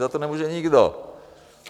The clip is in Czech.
Za to nemůže nikdo.